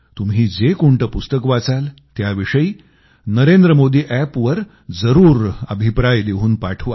तुम्ही जे कोणतं पुस्तक वाचाल त्याविषयी नरेंद्रमोदी अॅपवर जरूर अभिप्राय लिहून पाठवा